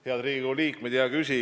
Head Riigikogu liikmed!